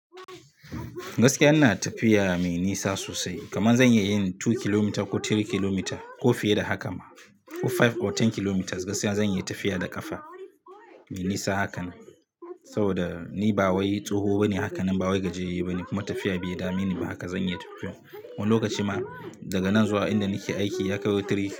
Gaskiya ina tafiya mai nisa sosai, kaman zan iya yin two kilometres ko three kilometres ko fiye da haka ma, ko five ko ten kilometres, gaskiya zan iya tafiya da ƙafa. Mai nisa haka, saboda ni ba wai tsoho bane haka nan ba wai gajere bane. Kuma tafiya bai dame ni ba, haka zan iya tafiya, wani lokaci ma daga nan zuwa in da nike aiki ya kai three kilometres.